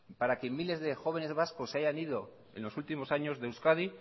para que miles de jóvenes vascos se hayan ido en los últimos años de euskadi